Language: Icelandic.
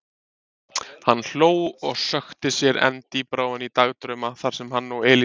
Hann hló og sökkti sér enn dýpra ofan í dagdrauma þar sem hann og Elísa.